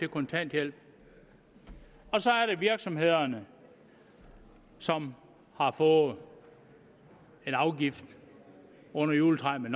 kontanthjælp og så er der virksomhederne som har fået en afgift under juletræet